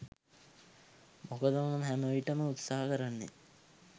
මොකද මම හැමවිටම උත්සහ කරන්නෙ